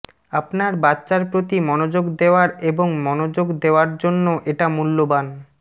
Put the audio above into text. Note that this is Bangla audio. আপনার বাচ্চার প্রতি মনোযোগ দেওয়ার এবং মনোযোগ দেওয়ার জন্য এটা মূল্যবান